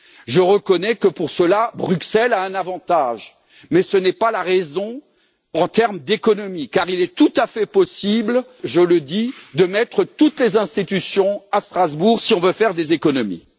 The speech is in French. Je reconnais que, pour cela, Bruxelles a un avantage, mais ce n'est pas la raison en termes d'économies, car il est tout à fait possible je le dis de mettre toutes les institutions à Strasbourg si nous voulons faire des économies.